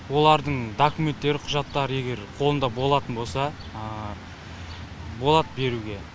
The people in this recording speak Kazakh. олардың документтері құжаттары егер қолында болатын болса болады беруге